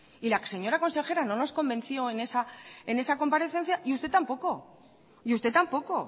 y la señora consejera no nos convenció en esa comparecencia y usted tampoco y usted tampoco